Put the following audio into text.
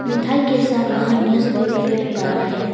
मिठाई के साथ वहां न्यूज़ पेपर भी परा है।